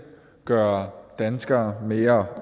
gøre danskere mere